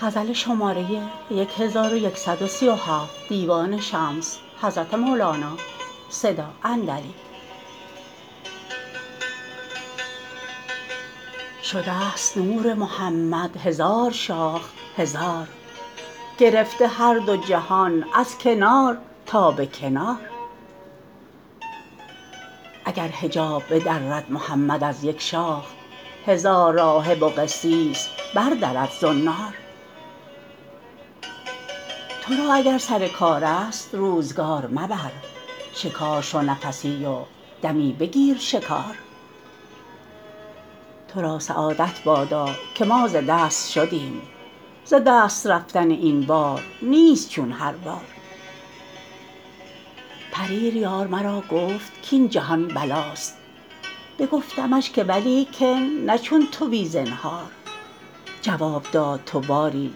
شده ست نور محمد هزار شاخ هزار گرفته هر دو جهان از کنار تا به کنار اگر حجاب بدرد محمد از یک شاخ هزار راهب و قسیس بردرد زنار تو را اگر سر کارست روزگار مبر شکار شو نفسی و دمی بگیر شکار تو را سعادت بادا که ما ز دست شدیم ز دست رفتن این بار نیست چون هر بار پریر یار مرا گفت کاین جهان بلاست بگفتمش که ولیکن نه چون تو بی زنهار جواب داد تو باری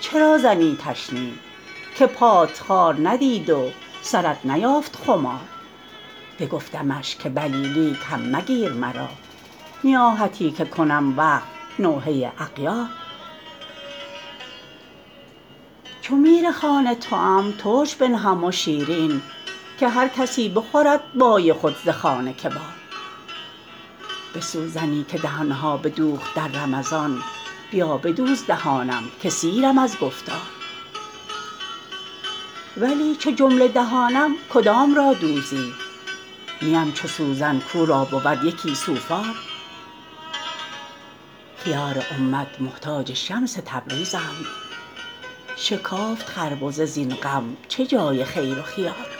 چرا زنی تشنیع که پات خار ندید و سرت نیافت خمار بگفتمش که بلی لیک هم مگیر مرا نیاحتی که کنم وفق نوحه اغیار چو میرخوان توام ترش بنهم و شیرین که هر کسی بخورد بای خود ز خوان کبار به سوزنی که دهان ها بدوخت در رمضان بیا بدوز دهانم که سیرم از گفتار ولی چو جمله دهانم کدام را دوزی نیم چو سوزن کو را بود یکی سوفار خیار امت محتاج شمس تبریزند شکافت خربزه زین غم چه جای خیر و خیار